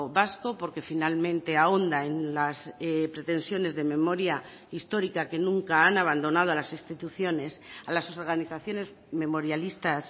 vasco porque finalmente ahonda en las pretensiones de memoria histórica que nunca han abandonado a las instituciones a las organizaciones memorialistas